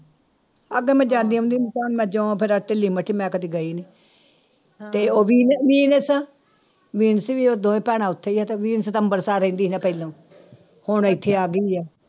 ਅੱਗੇ ਮੈਂ ਜਾਂਦੀ ਆਉਂਦੀ ਸੀ ਤੇ ਹੁਣ ਮੈਂ ਜਿਉਂ ਫਿਰ ਢਿੱਲੀ ਮੱਠੀ, ਮੈਂ ਕਦੇ ਗਈ ਨੀ ਤੇ ਉਹ ਵੀ ਵੀ ਉਹ ਦੋਵੇਂ ਭੈਣਾਂ ਉੱਥੇ ਹੀ ਹੈ ਤੇ ਅੰਬਰਸਰ ਰਹਿੰਦੀ ਨਾ ਪਹਿਲੋਂ ਹੁਣ ਇੱਥੇ ਆ ਗਈ ਹੈ।